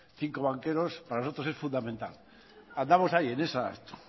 cinco banqueros para nosotros es fundamental andamos ahí en esa